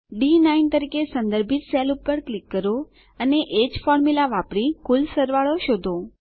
D9 તરીકે સંદર્ભિત cell પર ક્લિક કરો અને એજ ફોર્મુલા વાપરી કુલ સરવાળો શોધો